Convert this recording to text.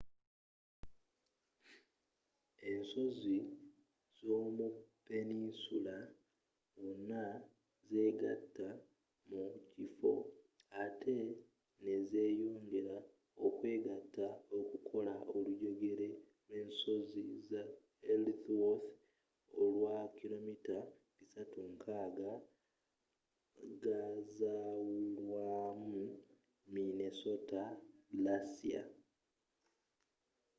ensozi z'omu peninsula wano zegatta mu kifo ate nezeyongera okwegatta okukola olujegere lw'ensozi za ellsworth olwakilometre 360 ga zawulwamu minnesota glacier